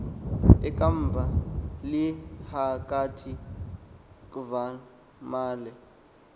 ekva lilhakathi kvamalye